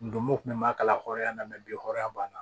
Ndomo kun b'a kala hɔrɔnya la mɛ bi hɔrɔnya b'a la